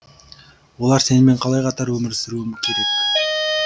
олар сенімен қалай қатар өмір сүруі керек